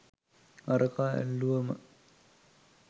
අරකා ඇල්ලුවම